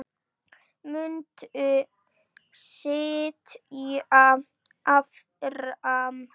Muntu sitja áfram?